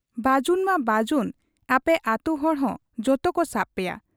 ᱵᱟᱹᱡᱩᱱ ᱢᱟ ᱵᱟᱹᱡᱩᱱ ᱟᱯᱮ ᱟᱹᱛᱩ ᱦᱚᱲᱦᱚᱸ ᱡᱚᱛᱚᱠᱚ ᱥᱟᱵ ᱯᱮᱭᱟ ᱾